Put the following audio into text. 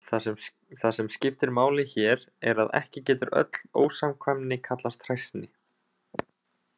Það sem skiptir máli hér er að ekki getur öll ósamkvæmni kallast hræsni.